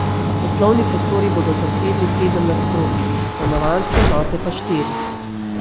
Poslovni prostori bodo zasedali sedem nadstropij, stanovanjske enote pa štiri.